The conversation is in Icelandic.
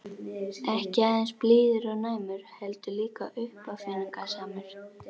Ekki aðeins blíður og næmur- heldur líka uppáfinningasamur.